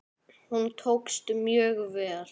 Hún tókst mjög vel.